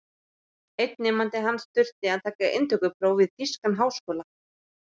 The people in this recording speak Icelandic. Einn nemandi hans þurfti að taka inntökupróf við þýskan háskóla.